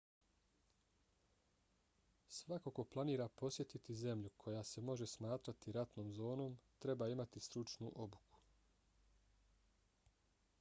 svako ko planira posjetiti zemlju koja se može smatrati ratnom zonom treba imati stručnu obuku